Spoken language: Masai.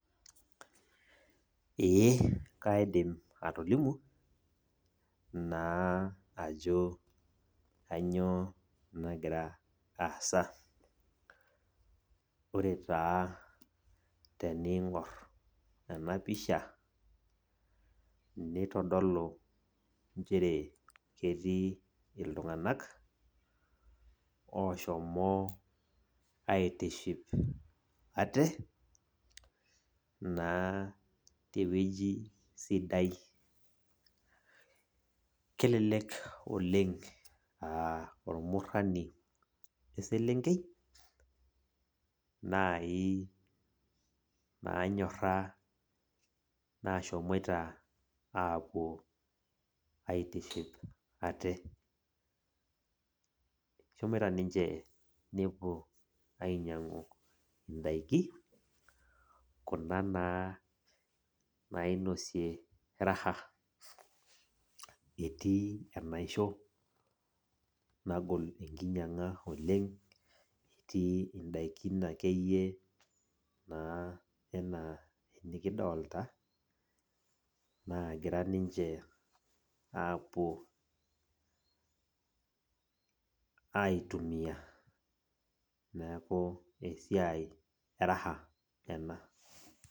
Ee kaidim atolimu, naa ajo kanyioo nagira aasa. Ore taa tening'or enapisha, nitodolu njere ketii iltung'anak, oshomo aitiship ate, naa tewueji sidai. Kelelek oleng ah ormurrani eselenkei, nai nanyorra nashomoita apuo aitiship ate. Eshomoita ninche nepuo ainyang'u idaiki, kuna nainosie raha, etii enaisho nagol enkinyang'a oleng, etii idaikin akeyie naa enaa nikidolta, naagira ninche apuo aitumia. Neeku esiai e raha ena.